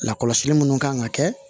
Lakɔlɔsili minnu kan ka kɛ